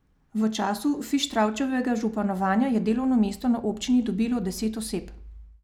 V času Fištravčevega županovanja je delovno mesto na občini dobilo deset oseb.